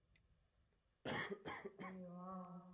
அய்யயோ ஆஹ்